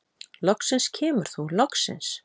Loksins kemur þú, loksins!